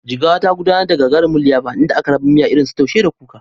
Jigawa, ta gudanar da gagarumin liyafa inda aka raba miya irinsu Taushe da Kuka.